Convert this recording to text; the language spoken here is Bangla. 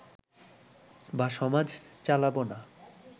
বা সমাজ চালাবো না